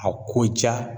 A ko ja